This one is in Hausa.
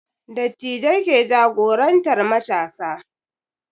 Dattijai ke jagorantar matasa